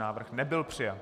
Návrh nebyl přijat.